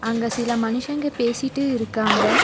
அங்க சில மனுஷங்க பேசிட்டு இருக்காங்க.